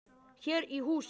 Hér í hús.